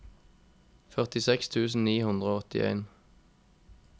førtiseks tusen ni hundre og åttien